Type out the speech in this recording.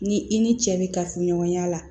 Ni i ni cɛ be kafoɲɔgɔnya la